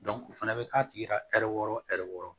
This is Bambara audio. o fana bɛ k'a tigi ka ɛri wɔɔrɔ ɛri wɔɔrɔ